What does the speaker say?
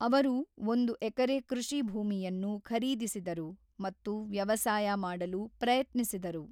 ಅವರು ಒಂದು ಎಕರೆ ಕೃಷಿ ಭೂಮಿಯನ್ನು ಖರೀದಿಸಿದರು ಮತ್ತು ವ್ಯವಸಾಯ ಮಾಡಲು ಪ್ರಯತ್ನಿಸಿದರು.